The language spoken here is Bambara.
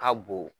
Ka bon